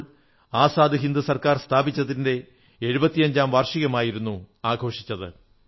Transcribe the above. ഇപ്പോൾ ആസാദ് ഹിന്ദ് സർക്കാർ സ്ഥാപിച്ചതിന്റെ 75 ാം വാർഷികമായിരുന്നു ആഘോഷിച്ചത്